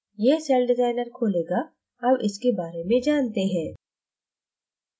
यह सेलडिज़ाइनर खोलेगा अब इसके बारे में जानते हैं